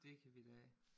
Det kan vi da